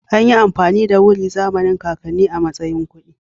Anyi amfani da wuri a zamanin kakannin a matsayin kuɗi